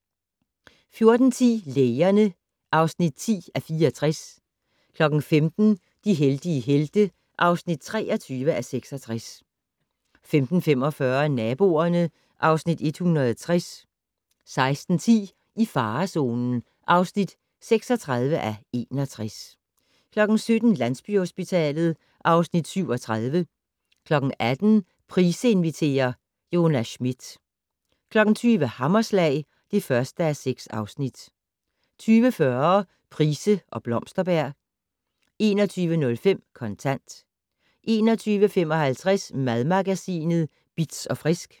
14:10: Lægerne (10:64) 15:00: De heldige helte (23:66) 15:45: Naboerne (Afs. 160) 16:10: I farezonen (36:61) 17:00: Landsbyhospitalet (Afs. 37) 18:00: Price inviterer - Jonas Schmidt 20:00: Hammerslag (1:6) 20:40: Price og Blomsterberg 21:05: Kontant 21:55: Madmagasinet Bitz & Frisk